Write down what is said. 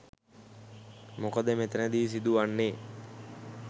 මොකද මෙතැනදි සිදුවන්නේ